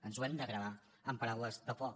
ens ho hem de gravar amb paraules de foc